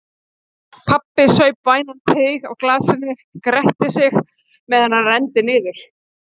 Pabbi saup vænan teyg af glasinu og gretti sig meðan hann renndi niður.